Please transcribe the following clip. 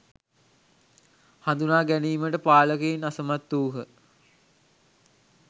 හඳුනා ගැනීමට පාලකයින් අසමත් වූහ.